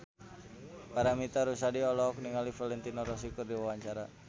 Paramitha Rusady olohok ningali Valentino Rossi keur diwawancara